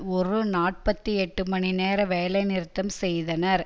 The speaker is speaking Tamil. ஒரு நாற்பத்தி எட்டு மணி நேர வேலை நிறுத்தம் செய்தனர்